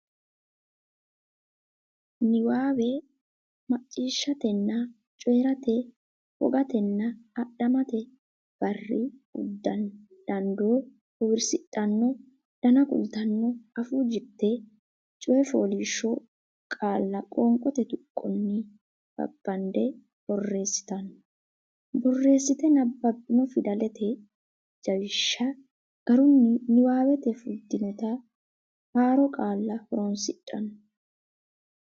niwaawe macciishshatenna coyi rate wogatenna adhammate barri uddanna dandoo bowirsidhanno dana kultanno afuu jirte coy fooliishsho qaalla qoonqote tuqqonni babbadde boreessitanno borreessite nabbabbanno fidalete jawishsha garunni niwaawete fultinota haaro qaalla horonsidhanno.